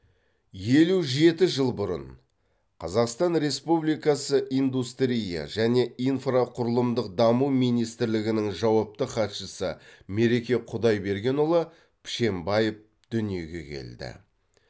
елу жеті жыл бұрын қазақстан республикасы индустрия және инфрақұрылымдық даму министрлігінің жауапты хатшысы мереке құдайбергенұлы пішембаев дүниеге келді